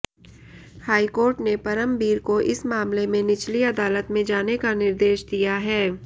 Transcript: high court ने परमबीर को इस मामले में निचली अदालत में जाने का निर्देश दिया है